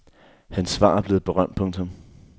Hans svar er blevet berømt. punktum